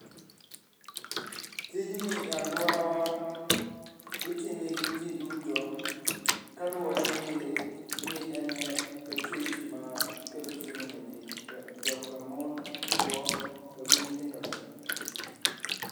Tijni e aluorawa itime gi ji duto kaluwore gi ni en e tich makelo chiemo ne ji joka mon, chwo to gi nyithindo te.